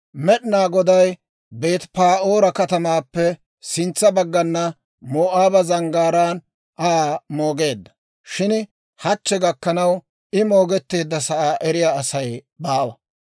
Med'inaa Goday Beeti-Pa'oora katamaappe sintsa baggan Moo'aaba zanggaaraan Aa moogeedda; shin hachchi gakkanaw, I moogetteedda sa'aa eriyaa Asay baawa.